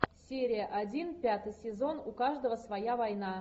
серия один пятый сезон у каждого своя война